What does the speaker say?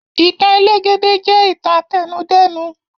Ìtàn elégédé jẹ ìtàn àtẹnudẹ́nu.